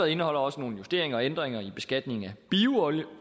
indeholder også nogle justeringer og ændringer i beskatningen af